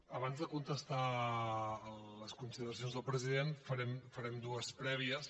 abans de contestar a les consideracions del president farem dues prèvies